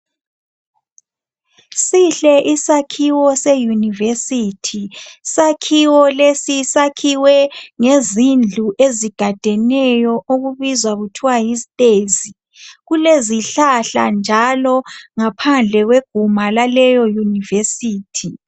Sihle isakhiwo se yunivesithi, isakhiwo lesi sakhiwe ngezindlu ezigadeneyo okubizwa kuthiwa yisitezi. Kulezihlahla njalo ngaphandle kweguma laleyo Yunivesithi.